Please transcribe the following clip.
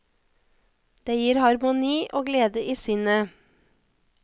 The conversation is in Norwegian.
Det gir harmoni og glede i sinnet.